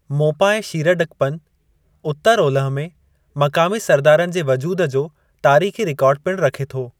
मोंपा ऐं शीरडकपन उतरु-ओलह में मक़ामी सरदारनि जे वजूदु जो तारीख़ी रिकार्ड पिणु रखे थो।